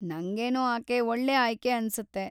ನಂಗೇನೋ ಆಕೆ ಒಳ್ಳೆ ಆಯ್ಕೆ ಅನ್ಸುತ್ತೆ.